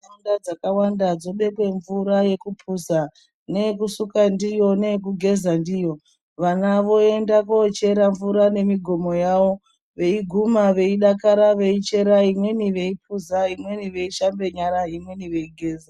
Ntaraunda dzakawanda dzobekwa mvura yekupuza, neyekusuka ndiyo, neyegugeza ndiyo. Vana voenda kochere mvura nemigomo yavo, veiguma veidakara veichera, imweni veipuza imweni veishambe nyara imweni veigeza.